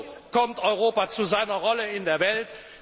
So kommt Europa zu seiner Rolle in der Welt.